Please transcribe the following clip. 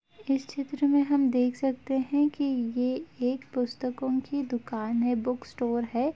इस चित्र में हम देख सकते हैं की ये एक पुस्तकों की दुकान है बुक स्टोर है।